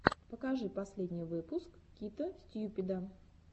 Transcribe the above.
покажи последний выпуск кита стьюпида